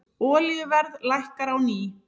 Olíuverð lækkar á ný